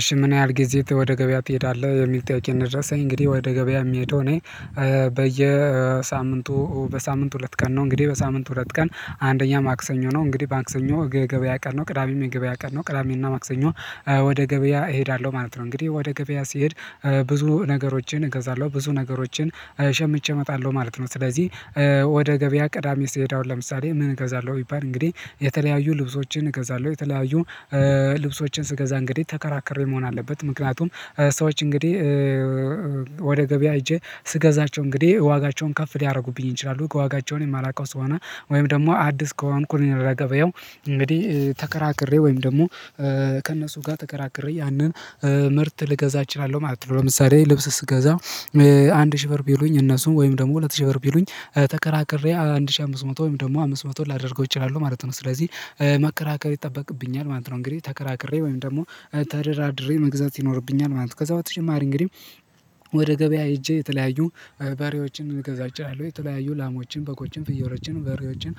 እሺ ምን ያህል ጊዜ ወደ ገበያ ትሄዳለህ የሚል ጥያቄ ነው? የደረስኝ እንግዲህ ወደ ገበያ የሚሄደው እኔ በየሳምንቱ በሳምንት ሁለት ቀን ነው። እንግዲህ በሳምንት ሁለት ቀን አንደኛ ማክሰኞ ነው እንግዲህ መክሰኞ የገበያ ቀን ነው ቅዳሜም የገበያ ቀን ነው ቅዳሜና ማክሰኞ ወደ ገበያ እሄዳለሁ ማለት ነው። እንግዲህ ወደ ገበያ ሲሄድ ብዙ ነገሮችን እገዛለሁ ብዙ ነገሮችን ሸምቼ እመጣለሁ ማለት ነው። ስለዚህ ወደ ገበያ ቅዳሜ ስሄዳ አሁን ለምሳሌ ምን እገዛለሁ ቢባል እንግዲህ የተለያዩ ልብሶችን እገዛለሁ የተለያዩ ልብሶችን ስገዛ እንግዲህ ተከራክሬ መሆን አለበት ምክንያቱም ሰዎች እንግዲህ ወደ ገበያ ሄጄ ስገዛቸው እንግዲህ ዋጋቸውን ከፍ ሊያደርጉብኝ ይችላሉ ከዋጋቸውን የማላውቀው ስሆነ ወይም ደግሞ አዲስ ከሆንኩኝ እኔ ለገበያው እንግዲህ ተከራክሬ ወይም ደግሞ ከእነሱ ጋር ተከራክሬ ያንን ምርት ልገዛ እችላለሁ ማለት ነው። ለምሳሌ ልብስ ስገዛ አንድ ሺህ ብር ቢሉኝ እነሱም ወይም ደግሞ ሁለት ሺህ ብር ቢሉኝ ተከራክሬ አንድ ሺህ አምስት መቶ ወይም ደግሞ አምስት መቶ ላደርገው እችላለሁ ማለት ነው። ስለዚህ መከራከር ይጠበቅብኛል ማለት ነው። እንግዲህ ተከራክሬ ወይም ደግሞ ተደራድሬ መግዛት ይኖርብኛል ማለት ነው። ከዛ በተጨማሪ እንግዲህ ወደ ገበያ ሄጄ የተለያዩ በሬዎችን ልገዛ እችለለሁ የተለያዩ ላሞችን በጎችን ፍየሎችን በሬዎችን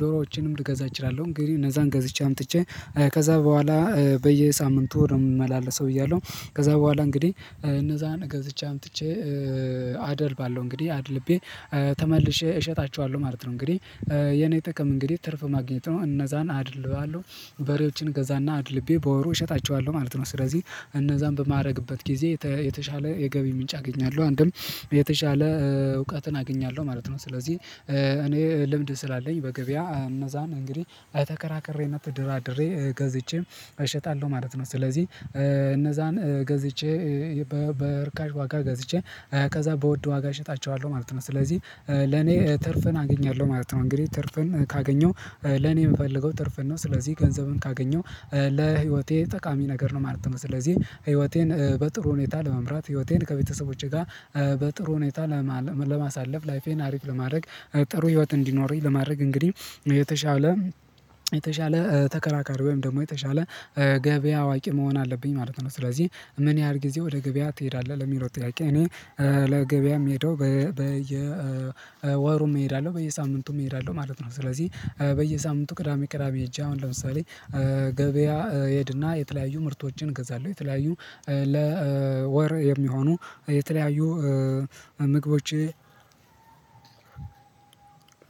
ዶሮዎችንም ልገዛ እችላለሁ። እንግዲህ እነዛን ገዝቼ አምጥቼ ከዛ በኋላ በየሳምንቱ ነው የምመላለሰው ብያለሁ ከዛ በኋላ እንግዲህ እነዛን ገዝቼ አምጥቼ አደልባለው እንግዲህ አድልቤ ተመልሼ እሸጣቸዋለሁ ማለት ነው። እንግዲህ የኔ ጥቅም እንግዲህ ትርፍ ማግኘት ነው እነዛን አደልባለሁ በሬዎችን እገዛና አድልቤ በወሩ እሸጣቸዋለሁ ማለት ነው። ስለዚህ እነዛን በማድረግበት ጊዜ የተሻለ የገቢ ምንጭ አገኛለሁ አንድም የተሻለ እውቀትን አገኛለሁ ማለት ነው። ስለዚህ እኔ ልምድ ስላለኝ በገበያ እነዛን እንግዲህ ተከራክሬነት ተደራድሬ ገዝቼም እሸጣለሁ ማለት ነው። ስለዚህ እነዛን ገዝቼ በእርካሽ ዋጋ ገዝቼ ከዛ በውድ ዋጋ እሸጣቸዋለሁ ማለት ነው። ስለዚህ ለኔ ትርፍን አገኛለሁ ማለት ነው። እንግዲህ ትርፍን ካገኘው ለኔ የምፈልገው ትርፍን ነው ስለዚህ ገንዘብን ካገኘው ለህይወቴ ጠቃሚ ነገር ነው ማለት ነው። ስለዚህ ህይወቴን በጥሩ ሁኔታ ለመምራት ህይወቴን ከቤተሰቦቼ ጋር በጥሩ ሁኔታ ለማሳለፍ ላይፌን አሪፍ ለማድረግ ጥሩ ህይወት እንዲኖረኝ ለማድረግ እንግዲህ የተሻለ የተሻለ ተከራካሪ ወይም ደግሞ የተሻለ ገበያ አዋቂ መሆን አለብኝ ማለት ነው። ስለዚህ ምን ያህል ጊዜ ወደ ገበያ ትሄዳለህ ለሚለው ጥያቄ እኔ ለገበያም ምሄደው በየወሩም እሄዳለሁ በየሳምንቱም እሄዳለሁ ማለት ነው። ስለዚህ በየሳምንቱ ቅዳሜ ቅዳሜ ሄጄ አሁን ለምሳሌ ገበያ ሄድና የተለያዩ ምርቶችን ገዛለሁ የተለያዩ ለወር የሚሆኑ የተለያዩ ምግቦች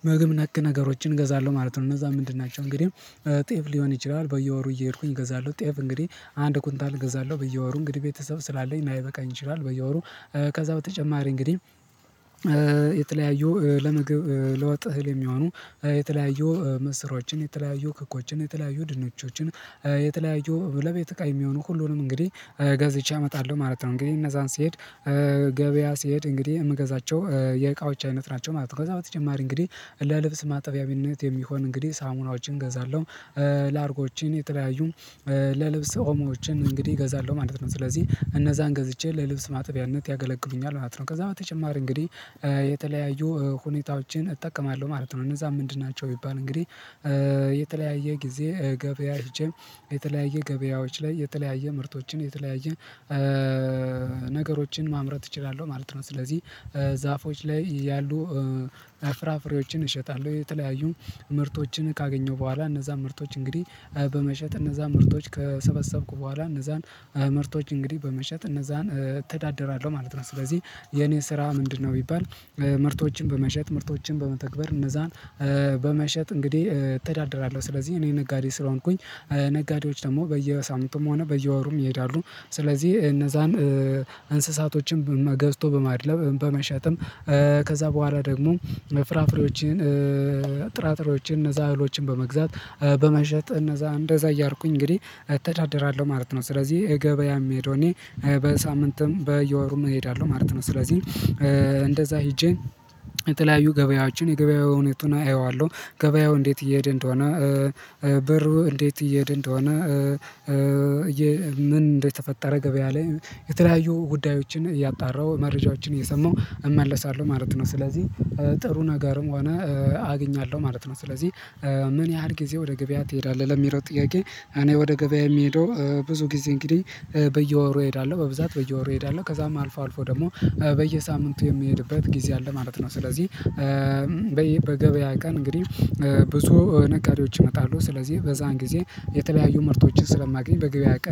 ምግብ ነክ ነገሮችን እገዛለሁ ማለት ነው። እነዛ ምንድን ናቸው እንግዲህ ጤፍ ሊሆን ይችላል። በየወሩ እየሄድኩኝ እገዛለሁ ጤፍ እንግዲህ አንድ ኩንታል እገዛለሁ በየወሩ እንግዲህ ቤተሰብ ስላለኝ ላይበቃኝ ይችላል በየወሩ ከዛ በተጨማሪ እንግዲህ የተለያዩ ለምግብ ለወጥ እህል የሚሆኑ የተለያዩ ምስሮችን የተለያዩ ክኮችን የተለያዩ ድንቾችን የተለያዩ ለቤት እቃ የሚሆኑ ሁሉንም እንግዲህ ገዝቼ እመጣለሁ ማለት ነው። እንግዲህ እነዛን ሲሄድ ገበያ ሲሄድ እንግዲህ የምዛቸው የእቃዎች አይነት ናቸው ማለት ነው። ከዛ በተጨማሪ እንግዲህ ለልብስ ማጠቢያዊነት የሚሆን እንግዲህ ሳሙናዎችን እገዛለሁ ላርጎችን የተለያዩ ለልብስ ኦሞዎችን እንግዲህ እገዛለሁ ማለት ነው። ስለዚህ እነዛን ገዝቼ ለልብስ ማጥቢያነት ያገለግሉኛል ማለት ነው። ከዛ በተጨማሪ እንግዲህ የተለያዩ ሁኔታዎችን እጠቀማለሁ ማለት ነው። እነዛ ምንድን ናቸው ቢባል እንግዲህ የተለያየ ጊዜ ገበያ ሄጄ የተለያየ ገበያዎች ላይ የተለያየ ምርቶችን የተለያየ ነገሮችን ማምረት እችላለሁ ማለት ነው። ስለዚህ ዛፎች ላይ ያሉ ፍራፍሬዎችን እሸጣለሁ የተለያዩ ምርቶችን ካገኘው በኋላ እነዛ ምርቶች እንግዲህ በመሸጥ እነዛ ምርቶች ከሰበሰብኩ በኋላ እነዛን ምርቶች እንግዲህ በመሸጥ እነዛን እተዳደራለሁ ማለት ነው። ስለዚህ የኔ ስራ ምንድነው ቢባል ምርቶችን በመሸጥ ምርቶችን በመተግበር እነዛን በመሸጥ እንግዲህ እተዳደራለሁ። ስለዚህ እኔ ነጋዴ ስለሆንኩኝ ነጋዴዎች ደግሞ በየሳምንቱም ሆነ በየወሩም ይሄዳሉ ስለዚህ እነዛን እንስሳቶችን ገዝቶ በማድለም በመሸጥም ከዛ በኋላ ደግሞ ፍራፍሬዎችን ጥራጥሬዎችን እነዛ አህሎችን በመግዛት በመሸጥ እነዛ እንደዛ እያርቁኝ እንግዲህ እተዳደራለሁ ማለት ነው። ስለዚህ ገበያ የምሄደው እኔ በሳምንትም በየወሩም እሄዳለሁ ማለት ነው። ስለዚህ እንደዛ ሄጄ የተለያዩ ገበያዎችን የገበያዊ ሁኔታውን አየዋለሁ ገበያው እንዴት እየሄድን እንደሆነ ብሩ እንዴት እየሄድን እንደሆነ ምን እንደተፈጠረ ገበያ ላይ የተለያዩ ጉዳዮችን እያጣራሁ መረጃዎችን እየሰማሁ እመለሳለሁ ማለት ነው። ስለዚህ ጥሩ ነገርም ሆነ አግኛለሁ ማለት ነው። ስለዚህ ምን ያህል ጊዜ ወደ ገበያ ትሄዳለህ? ለሚለው ጥያቄ እኔ ወደ ገበያ የምሄደው ብዙ ጊዜ እንግዲህ በየወሩ እሄዳለሁ በብዛት በየወሩ እሄዳለሁ ከዛም አልፎ አልፎ ደግሞ በየሳምንቱ የሚሄድበት ጊዜ አለ ማለት ነው። ስለዚህ በይ በገበያ ቀን እንግዲህ ብዙ ነጋዴዎች ይመጣሉ ስለዚህ በዛን ጊዜ የተለያዩ ምርቶችን ስለማገኝ በገበያ ቀን